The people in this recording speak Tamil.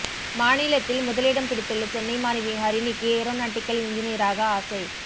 மாநிலத்தில் முதலிடம் பிடித்துள்ள சென்னை மாணவி ஹரிணிக்கு ஏரோநாட்டிகல் என்ஜினீயராக ஆசை